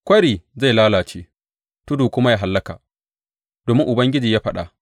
Kwari zai lalace tudu kuma ya hallaka, domin Ubangiji ya faɗa.